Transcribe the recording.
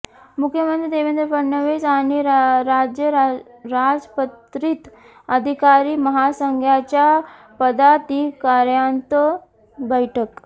मुख्यमंत्री देवेंद्र फडणवीस आणि राज्य राजपत्रित अधिकारी महासंघाच्या पदाधिकाऱ्यांत बैठक